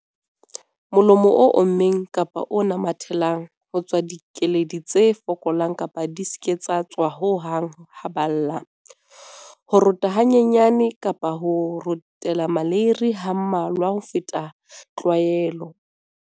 Molomo o ommeng kapa o namathelang. Ho tswa dikeledi tse fokolang kapa di se ke tsa tswa ho hang ha ba lla. Ho rota hanyane kapa ho rotela maleiri ha mmalwa ho feta tlwaelo.